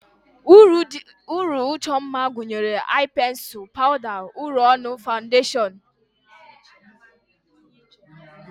Uri ịchọ mma gụnyere ai pensul, pawda, uri ọnụ, fandashon wdg.